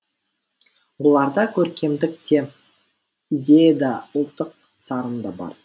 бұларда көркемдік те идея да ұлттық сарын да бар